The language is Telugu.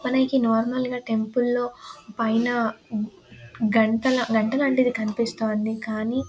మనకి నార్మల్గా టెంపుల్ లోని పైన గంటలనేవి కనిపిస్తూ ఉంటాయి కానీ